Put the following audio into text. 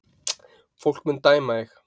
Fólk mun dæma þig